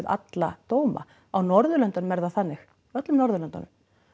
alla dóma á Norðurlöndunum er það þannig öllum Norðurlöndunum